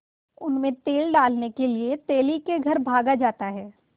उनमें तेल डालने के लिए तेली के घर भागा जाता है